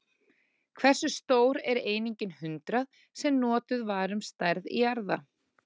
Hversu stór er einingin hundrað, sem notuð var um stærð jarða?